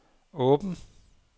åben